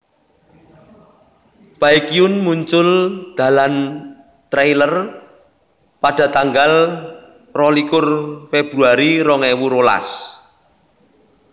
Baekhyun muncul dalam trailer pada tanggal rolikur Februari rong ewu rolas